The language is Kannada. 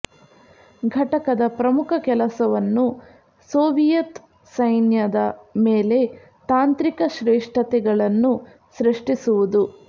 ಘಟಕದ ಪ್ರಮುಖ ಕೆಲಸವನ್ನು ಸೋವಿಯತ್ ಸೈನ್ಯದ ಮೇಲೆ ತಾಂತ್ರಿಕ ಶ್ರೇಷ್ಠತೆಗಳನ್ನು ಸೃಷ್ಟಿಸುವುದು